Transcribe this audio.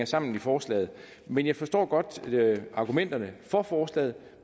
sammen i forslaget men jeg forstår godt argumenterne for forslaget